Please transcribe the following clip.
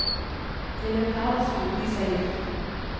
En leopard slukte i seg gift.